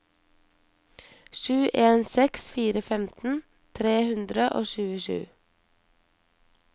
sju en seks fire femten tre hundre og tjuesju